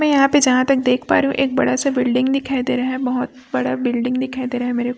मैं यहाँ पे जहाँ तक देख पा रही हूं एक बड़ा सा बिल्डिंग दिखाई दे रहा है बहोत बड़ा बिल्डिंग दिखाई दे रहा है मेरे --